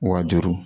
Wa juru